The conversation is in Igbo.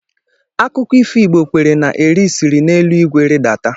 Akụkọ ifo Igbo kwere na Eri siri n'elu igwe ridata.